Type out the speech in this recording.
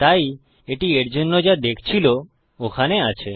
তাই এটি এর জন্য যা দেখছিল ওখানে আছে